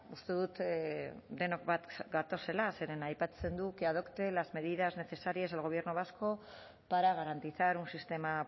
uste dut denok bat gatozela zeren aipatzen du que adopte las medidas necesarias el gobierno vasco para garantizar un sistema